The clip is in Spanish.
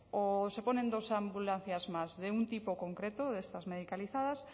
o se ponen dos ambulancias más de un tipo concreto de estas medicalizadas